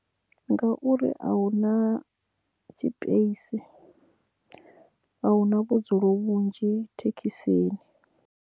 Ngauri a huna tshipeisi a huna vhudzulo vhunzhi thekhisini.